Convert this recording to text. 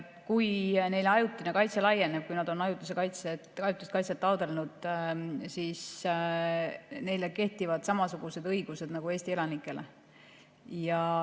Kui neile ajutine kaitse laieneb, nad on ajutist kaitset taotlenud, siis kehtivad nende kohta samasugused õigused nagu Eesti elanikele.